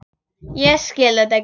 Ég skil þetta ekki.